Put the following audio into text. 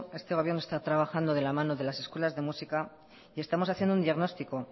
este gobierno está trabajando de la mano de las escuelas de música y estamos haciendo un diagnóstico